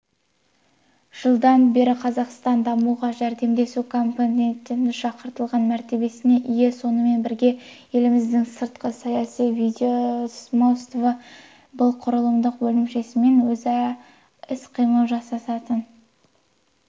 жылдан бері қазақстан дамуға жәрдемдесу комитетінде шақыртылған мәртебесіне ие сонымен бірге еліміздің сыртқы саяси ведомствосы бұл құрылымдық бөлімшесімен өзара іс-қимыл жасасатын